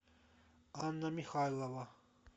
анна михайлова